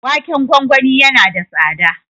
Waken gwagwani yana da tsada.